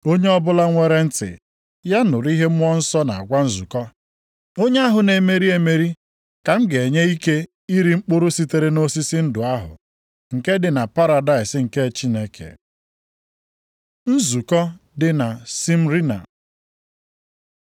Onye ọbụla nwere ntị, ya nụrụ ihe Mmụọ Nsọ na-agwa nzukọ. Onye ahụ na-emeri emeri ka m ga-enye ike iri mkpụrụ sitere nʼosisi ndụ ahụ nke dị na paradaịs nke Chineke. Nzukọ dị na Smyrna